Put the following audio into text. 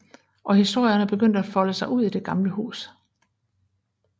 Og historierne begynder at folde sig ud i det gamle hus